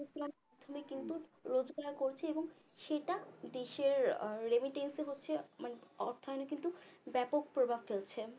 প্রথমে কিন্তু রোজগার করছে এবং সেটা দেশের আহ remittance হচ্ছে মানে অর্থায়নে কিন্তু ব্যাপক প্রভাব ফেলছে